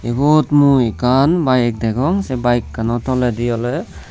ibot mui ekkan bike degong se bike kano toledi oley.